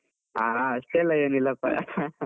ಹಾ ಅಷ್ಟೆಲ್ಲ ಏನಿಲ್ಲಪ್ಪ .